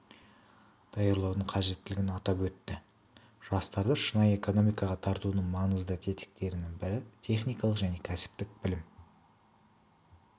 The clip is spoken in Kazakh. даярлаудың қажеттілігін атап өтті жастарды шынайы экономикаға тартудың маңызды тетіктерінің бірі техникалық және кәсіптік білім